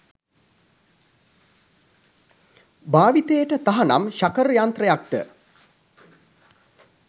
භාවිතයට තහනම් ශකර් යන්ත්‍රයක්ද